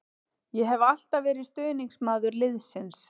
Ég hef alltaf verið stuðningsmaður liðsins.